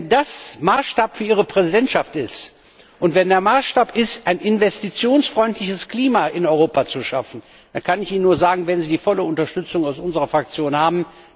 Wenn das Maßstab für Ihre Präsidentschaft ist und wenn der Maßstab ist, ein investitionsfreundliches Klima in Europa zu schaffen, dann, kann ich Ihnen nur sagen, werden Sie die volle Unterstützung aus unserer Fraktion haben.